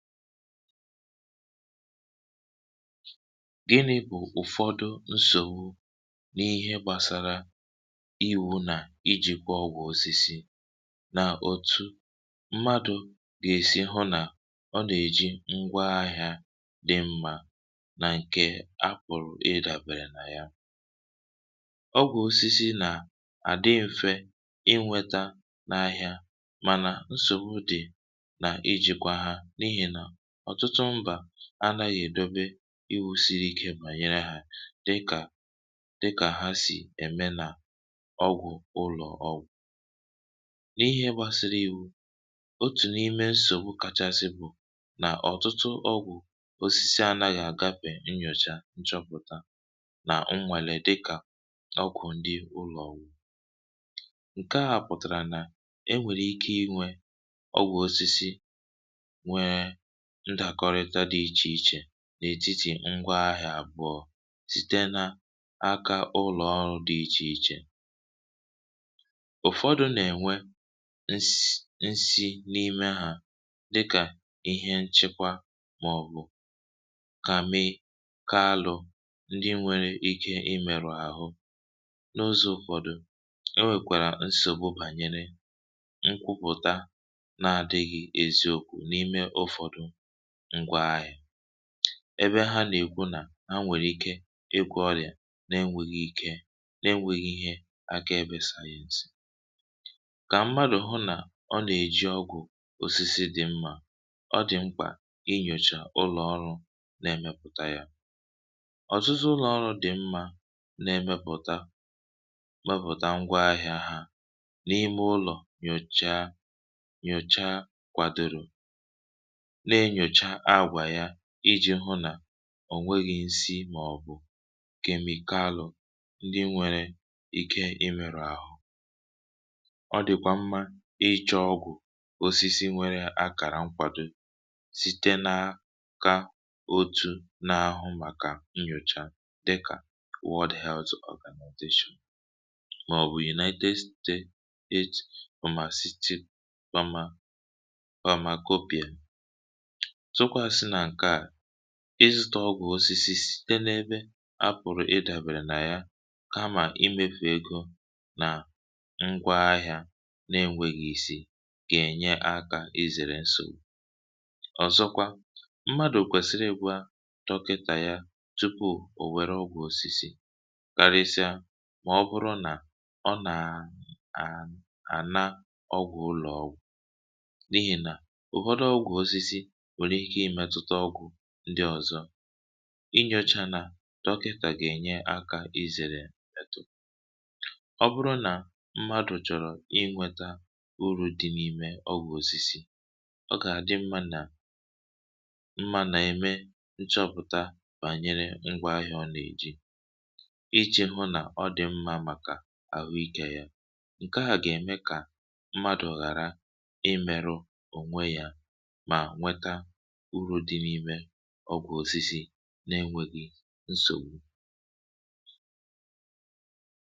gìnị̇ bụ̀ ụ̀fọdụ nsògbu n’ihe gbàsara iwȯ nà iji̇kwȧ ọgwụ̇ osisi nà òtù mmadụ̇ gà-èsi hụ nà ọ nà-èji ngwa ahịȧ dị mmȧ um nà ǹkè a kpụ̀rụ̀ ị dàbèrè nà ya ọgwụ̀ osisi nà àdị mfẹ̇ inwėtȧ nà ahịȧ mànà nsògbu dị̀ nà ijìkwa ha um ọ̀tụtụ mbà anaghị èdobe ịwụ̇ siri ikė mà nyere hȧ dịkà dịkà ha sì ème nà ọgwụ̇ ụlọ̀ ọwụ̀ n’ihe gbasiri ìwu otù n’ime nsògbu kachasị bu nà ọ̀tụtụ ọgwụ̀ osisi anȧghị̇ àgapè nnyòcha nchọpụ̀ta nà nnwèrè dịkà ọkwụ̀ ndị ụlọ̀ ọwụ ǹke à pụ̀tàrà nà e nwèrè ike inwė ọgwụ̀ osisi ndàkọrịta dị ichè ichè n’ètitì ngwa ahị̇à àbọọ̇ site na akȧ ụlọ̀ ọrụ dị̇ ichè ichè ụ̀fọdụ̇ nà-ènwe ns nsị n’ime hȧ dịkà ihe nchekwa màọ̀bụ̀ kà mee ka alụ̇ ndị nwere ike imèrụ̀ àhụ n’ụzọ̇ ụ̀fọdụ um e nwèkwàrà nsògbụ bànyere nkwupụ̀ta na à dịghị eziokwu̇ n’ime ụ̀fọdụ ebe ha nà-èkwu nà ha nwèrè ike ikwụ̇ ọrị̀à na-enwėghi̇ ike na-enwėghi̇ ihe aka ebė sayensị kà mmadụ̀ hụ nà ọ nà-èji ọgwụ̀ òsisi dị̀ mmȧ ọ dị̀ mkpà inyòchà ụlọ̀ ọrụ na-emėpụ̀ta yȧ ọ̀zụzụ ụlọ̀ ọrụ dị̀ mmȧ na-emėpụ̀ta mepụ̀ta ngwa ahịȧ ha n’ime ụlọ̀ nyòcha nyòcha kwàdìrì ǹjèahu nà ò nweghi̇ nsị màọ̀bụ̀ kemikalụ̇ ndị nwėrė ike imèrụ̇ ahụ ọ dị̀kwà mmȧ ịchọ̇ ọgwụ̀ osisi nwėrė akàrà nkwàdò site nȧ ka otu̇ n’ahụ màkà nnyòcha dịkà wụ́ld health organization màọ̀bụ̀ united state umà city mama ịzụ̇tȧ ọgwụ̀ osisi dịn’ebe a pụ̀rụ̀ ịdàbèrè nà ya kamà imefù egȯ nà ngwa ahị̇ȧ na-enwėghi̇ isi gà-ènye akȧ izèrè nsògbu ọ̀zọkwa mmadụ̀ kwèsìrì egwúa dọkịtà ya tupu òwèro ọ̀gwụ̀ osisi karịsịa mà ọ bụrụ nà ọ nà à à nà ọgwụ̀ ụlọ̀ọ ndị ọ̀zọ i nyȯcha nà dọki kà gà-ènyere akȧ izère tù ọ bụrụ nà mmadụ̀ chọrọ̇ inwėtȧ uru̇ dị n’ime ọ gwụ̀ osisi ọ gà-àdị mmȧ nà mmȧ nà-ème nchọpụ̀ta bànyere ngwa ahịȧ ọ̀na-èji iji̇ hụ nà ọ dị̀ mmȧ màkà àhụ ikė yȧ ǹke à gà-ème kà mmadụ̀ ghàra imėru ònwe yȧ urù dị n’imė ọgwụ osisi na-enwėghi nsògbu.